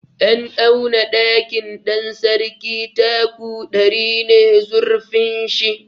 An auna ɗakin Ɗansarki taku ɗari ne zurfin shi.